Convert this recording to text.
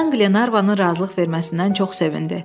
Kapitan Qlenarvanın razılıq verməsindən çox sevindi.